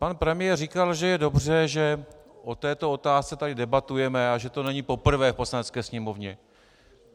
Pan premiér říkal, že je dobře, že o této otázce tady debatujeme, a že to není poprvé v Poslanecké sněmovně.